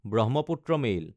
Brahmaputra mail